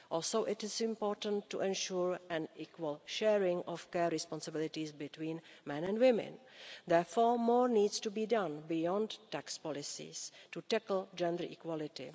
Also, it is important to ensure an equal sharing of care responsibilities between men and women. Therefore, more needs to be done beyond tax policies to tackle gender equality.